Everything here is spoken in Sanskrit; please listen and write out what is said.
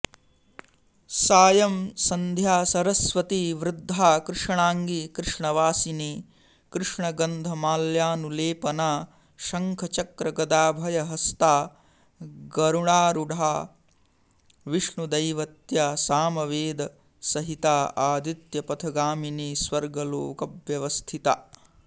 सायं सन्ध्या सरस्वती वृद्धा कृष्णाङ्गी कृष्णवासिनी कृष्णगन्धमाल्यानुलेपना शङ्खचक्रगदाभयहस्ता गरुडारूढा विष्णुदैवत्या सामवेदसहिता आदित्यपथगामिनी स्वर्गलोकव्यवस्थिता